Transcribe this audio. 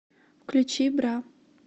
включи бра